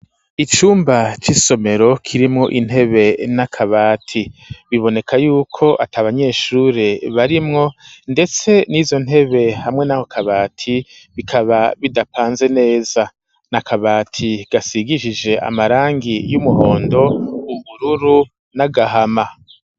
Icumba c'isomero kirimwo intebe nakabati biboneka yuko ata abanyeshure barimwo ndetse n'izo ntebe hamwe n'ako kabati bikaba bidapanze neza nya kabati gasigishijwe amarangi y'umuhondo ubururu n'agahama.